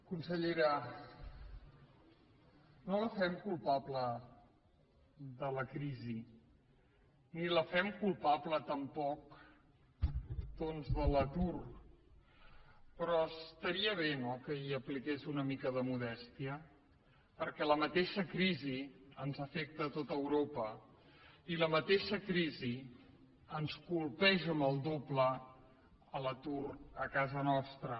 consellera no la fem culpable de la crisi ni la fem culpable tampoc doncs de l’atur però estaria bé no que hi apliqués una mica de modèstia perquè la mateixa crisi afecta tot europa i la mateixa crisi ens colpeix amb el doble d’atur a casa nostra